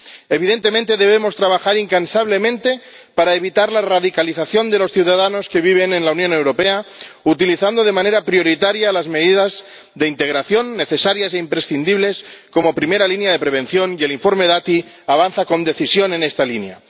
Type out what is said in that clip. Evidentemente, debemos trabajar incansablemente para evitar la radicalización de los ciudadanos que viven en la Unión Europea, utilizando de manera prioritaria las medidas de integración, necesarias e imprescindibles, como primera línea de prevención, y el informe Dati avanza con decisión en esta línea.